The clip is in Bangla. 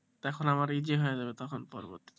তখন আমার easy হয়ে যাবে তখন পরিবর্তী,